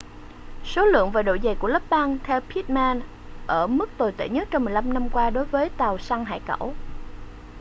số lượng và độ dày của lớp băng theo pittman ở mức tồi tệ nhất trong 15 năm qua đối với tàu săn hải cẩu